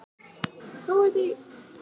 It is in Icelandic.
Mávanesi